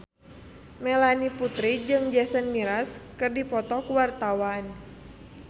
Melanie Putri jeung Jason Mraz keur dipoto ku wartawan